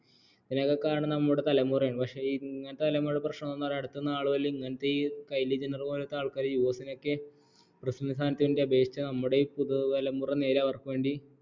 ഇതൊക്കെ കാണുന്നത് നമ്മുടെ തലമുറയാണ് പക്ഷേ ഇങ്ങനത്തെ തലമുറയുടെ പ്രശനം എന്തന്നാൽ അടുത്ത നാലു മുതൽ കയിലി ജെന്നർ പോലത്തെ ആളുകളൊക്കെ USA ലൊക്കെ പ്രസിഡണ്ട് സ്ഥാനത്തേക്ക് അപേക്ഷിച്ചാൽ നമ്മുടെ ഈ പുതുതലമുറ നേരെ അവർക്ക് വേണ്ടി